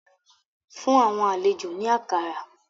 Fun awọn alejo ni akara